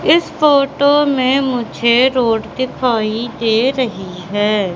इस फोटो में मुझे रोड दिखाई दे रही है।